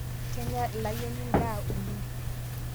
Kenya eleayieni ndaa oleng